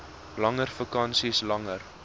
langer vakansies langer